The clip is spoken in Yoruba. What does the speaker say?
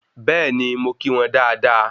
Bẹ́ẹ̀ni, mo kí wọn dáadáa